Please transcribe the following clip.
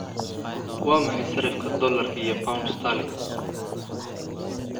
waa maxay sarifka dollarka iyo pound sterling